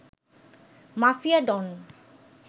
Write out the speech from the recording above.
mafia don